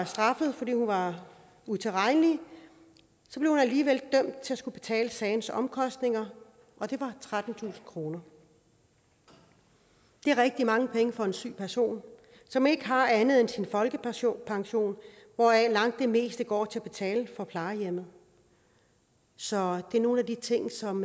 straffet fordi hun var utilregnelig blev hun alligevel dømt til at skulle betale sagens omkostninger og det var trettentusind kroner det er rigtig mange penge for en syg person som ikke har andet end sin folkepension hvoraf langt det meste går til at betale for på plejehjemmet så det er nogle af de ting som